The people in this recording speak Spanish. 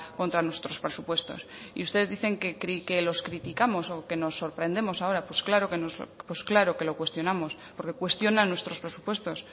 contra nuestros presupuestos y ustedes dicen que los criticamos o que nos sorprendemos ahora pues claro que lo cuestionamos porque cuestiona nuestros presupuestos